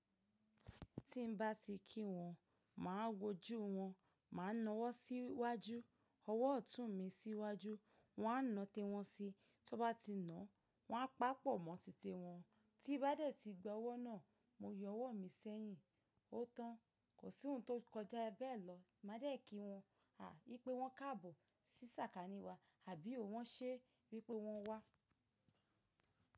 Tí n bá ti kí wọ́n, mà á wojú wọ́n, mà á na ọwọ́ síwájú, ọwọ́ ọ̀tún mi síwájú, wọ́n á náa tiwọ́n si, tí wọ́n bá ti náà, wọ́n á pápọ̀ mọ́ títi wọn, tí bá dẹ̀ ti gba ọwọ́ náà, mo yọ ọwọ́ mi sẹ́yìn. Ó tán, kò sí ohun tó kọjá bẹ́ẹ̀ lọ. Mà á dẹ̀ kí wọ́n, yii pé wọ́n kábòọ̀ sí sàkání wa àbí ò wọ́n ṣé wípé wọ́n wá?